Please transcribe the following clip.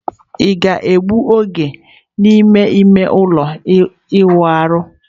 Ị ga-ewepụta oge n'ime ime ụlọ ịwụ ahụ?